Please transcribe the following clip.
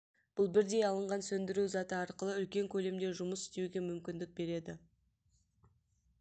бұл бірдей алынған сөндіру заты арқылы үлкен көлемде жұмыс істеуге мүмкіндік береді